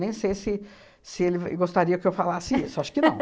Nem sei se se ele gostaria que eu falasse isso, acho que não.